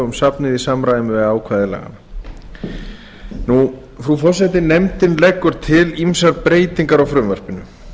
um safnið í samræmi við ákvæði laganna frú forseti nefndin leggur til ýmsar breytingar á frumvarpinu